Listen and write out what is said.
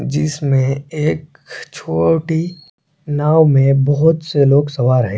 जिसमें एक छोटी नांव में बहुत से लोग सवार है।